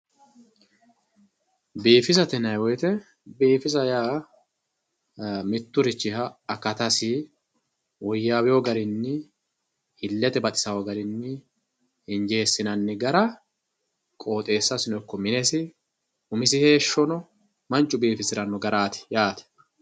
biifisate yinanni woyiite biifisa yaa mitturichiha akatasi woyyaawewoo garinni illete baxisanno garinni injeessinanni gara qooxeessasi ikko minesi umisi heeshshono mannu biifisiranno garaati yaate.